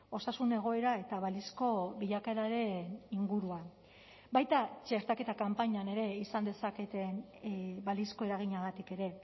osasun egoera eta balizko bilakaeraren inguruan baita txertaketa kanpainan ere izan dezaketen balizko eraginagatik ere